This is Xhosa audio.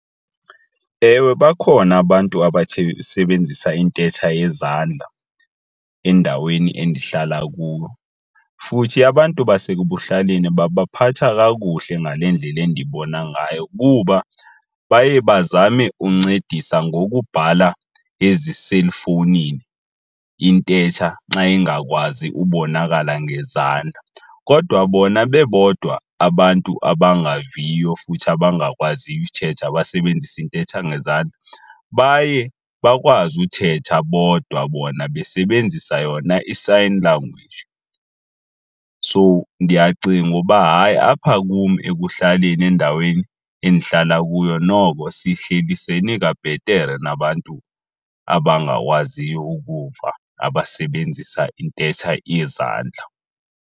Ewe, bakhona abantu basebenzisa intetha yezandla endaweni endihlala kuyo futhi abantu basekuhlaleni babaphatha kakuhle ngale ndlela endibona ngayo kuba baye bazame uncedisa ngokubhala eziselfowunini intetha xa ingakwazi ubonakala ngezandla. Kodwa bona bebodwa abantu abangaviyo futhi abangakwaziyo uthetha abasebenzisa intetha ngezandla baye bakwazi uthetha bodwa bona besebenzisa yona i-sign language. So ndiyacinga uba hayi apha kum ekuhlaleni endaweni endihlala kuyo noko sihlelisene kabhetere nabantu abangakwaziyo ukuva abasebenzisa intetha yezandla.